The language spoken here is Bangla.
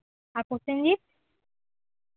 আর প্রসেনজিৎ